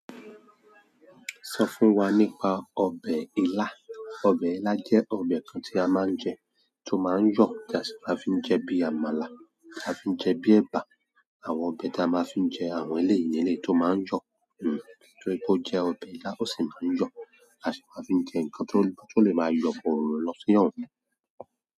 Sọ fún wa nípa ọbẹ̀ ila. Ọbẹ̀ ila jẹ́ ọbẹ̀ kan tí a máa ń jẹ, tó máa ń yọ̀, tí a sì máa ń fi jẹ bí àmàlà, a fi ń jẹ bí ẹ̀bà, àwọn ọbẹ̀ tí a máa ń fi jẹ àwọn eleyi ni eleyi tó máa ń yọ̀. Hmm torí pé o jẹ ọbẹ̀ ilá, ó sì máa ń yọ̀, a sì máa ń fi ń jẹ nkan tó ń lọ ti ó lè máa yọ̀ bọ́rọ̀rọ̀ lọ sí o hun.